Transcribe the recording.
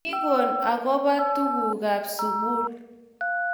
kikoon akobo tugukab sukul